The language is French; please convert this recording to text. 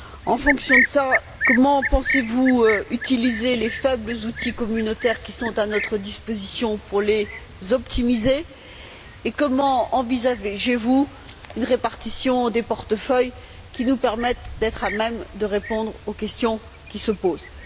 En fonction de cela, comment pensez vous utiliser les faibles outils communautaires qui sont à notre disposition pour les optimiser, et comment envisagez vous une répartition des portefeuilles qui nous permette d'être à même de répondre aux questions qui se posent?